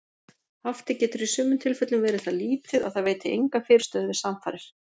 Haftið getur í sumum tilfellum verið það lítið að það veiti enga fyrirstöðu við samfarir.